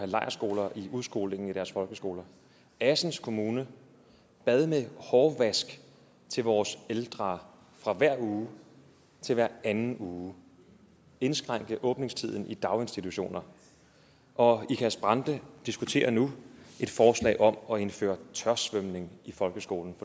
lejrskoler i udskolingen i deres folkeskoler assens kommune bad med hårvask til vores ældre fra hver uge til hver anden uge indskrænke åbningstiden i daginstitutioner og ikast brande diskuterer nu et forslag om at indføre tørsvømning i folkeskolen